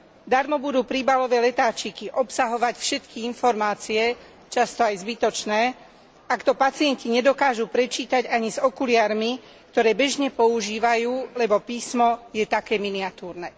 Darmo budú príbalové letáčiky obsahovať všetky informácie, často aj zbytočné, ak to pacienti nedokážu prečítať ani s okuliarmi, ktoré bežne používajú, lebo písmo je také miniatúrne.